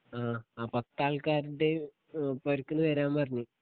ആ ആ പത്താൽക്കാര്ടെ ഏ പൊരക്ക്ന്ന് വരാൻ പറഞ്ഞു